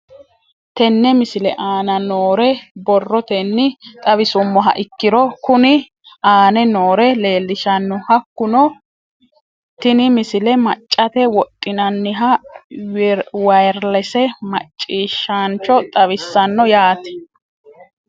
Tenne misile aana noore borrotenni xawisummoha ikirro kunni aane noore leelishano. Hakunno tinni misile maccate wodhinaniha wirelesse maaciishshancho xawissanno yaate.